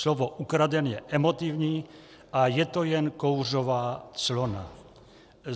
Slovo ukraden je emotivní a je to jen kouřová clona.